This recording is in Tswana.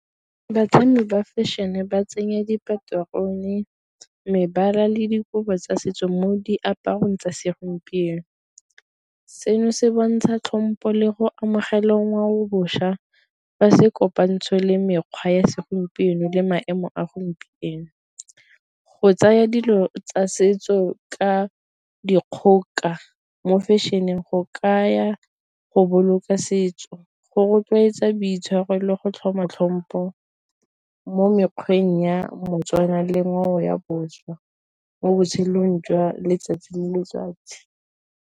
Batlhami ba fashion-e ba tsenya dipaterone, mebala le dikobo tsa setso mo diaparong tsa segompieno. Seno se bontsha tlhompo le go amogela ngwaoboswa ba se kopantsha le mekgwa ya segompieno le maemo a gompieno. Go tsaya dilo tsa setso ka dikgoka mo fashion-eng go kaya go boloka setso, go rotloetsa boitshwaro le go tlhoma tlhompo mo mekgweng ya moTswana le ngwao ya boswa mo botshelong jwa letsatsi le letsatsi.